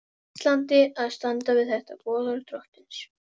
Íslandi að standa við þetta boðorð drottins.